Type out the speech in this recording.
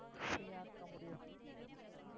free ஆ இருக்க முடியும்